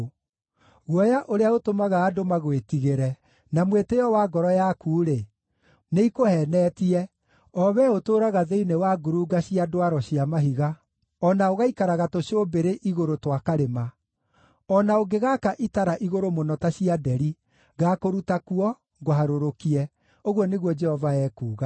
Guoya ũrĩa ũtũmaga andũ magwĩtigĩre na mwĩtĩĩo wa ngoro yaku-rĩ, nĩikũheenetie, o wee ũtũũraga thĩinĩ wa ngurunga cia ndwaro cia mahiga, o na ũgaikaraga tũcũmbĩrĩ igũrũ twa karĩma. O na ũngĩgaaka itara igũrũ mũno ta cia nderi, ngaakũruta kuo, ngũharũrũkie,” ũguo nĩguo Jehova ekuuga.